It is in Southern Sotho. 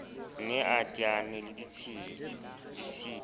ne a teane le ditshita